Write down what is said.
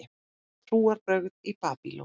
Trúarbrögð í Babýlon